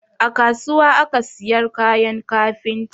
A kasuwa aka siyar kayan kafinta